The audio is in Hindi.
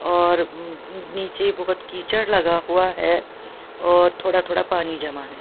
और नीचे बहुत कीचड़ लगा हुआ है और थोड़ा थोड़ा पानी जमा है।